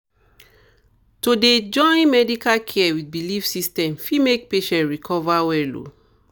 to dey join medical care with belief system fit make patient recover well